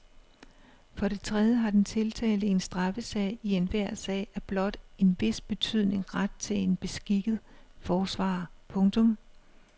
For det tredje har den tiltalte i en straffesag i enhver sag af blot en vis betydning ret til en beskikket forsvarer. punktum